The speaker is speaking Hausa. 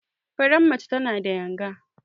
Faran mace tana da yanga.